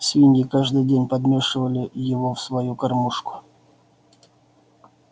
свиньи каждый день подмешивали его в свою кормушку